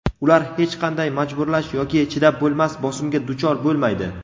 ular hech qanday majburlash yoki chidab bo‘lmas bosimga duchor bo‘lmaydi.